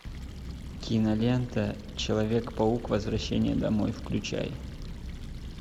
кинолента человек паук возвращение домой включай